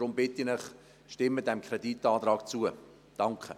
Deshalb bitte ich Sie, diesem Kreditantrag zuzustimmen.